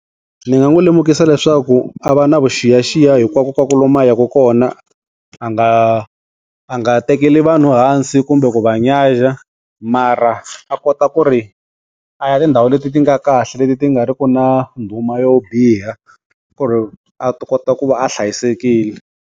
Ndzi nga n'wi lemukisa leswaku a va na vuxiyaxiya hinkwakunkwaku lomu a yaka kona. A nga a nga tekeli vanhu hansi kumbe ku va nyaja. Mara, a kota ku ri, a ya tindhawu leti ti nga kahle leti ti nga ri ku na ndhuma yo biha ku ri a kota ku va a hlayisekile.